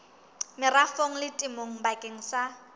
merafong le temong bakeng sa